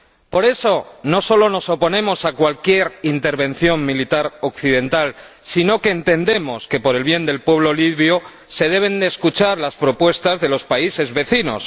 Por eso, no solo nos oponemos a cualquier intervención militar occidental, sino que entendemos que, por el bien del pueblo libio, se deben escuchar las propuestas de los países vecinos.